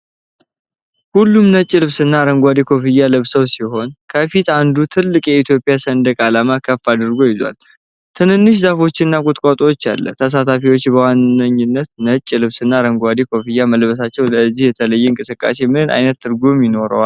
ሁሉም ነጭ ልብስና አረንጓዴ ኮፍያ ለብሰው ሲሆን፣ ከፊት አንዱ ትልቅ የኢትዮጵያን ሰንደቅ ዓላማ ከፍ አድርጎ ይዟል። ትናንሽ ዛፎች እና ቁጥቋጦውአለ ።ተሳታፊዎች በዋነኛነት ነጭ ልብስ እና አረንጓዴ ኮፍያ መልበሳቸው ለዚህ የተለየ እንቅስቃሴ ምን አይነት ትርጉም ይኖረዋል?